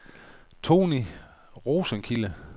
Tonni Rosenkilde